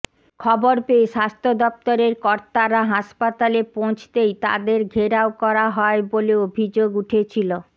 খবর পেয়ে স্বাস্থ্য দফতরের কর্তারা হাসপাতালে পৌঁছতেই তাঁদের ঘেরাও করা হয় বলে অভিযোগ উঠেছিল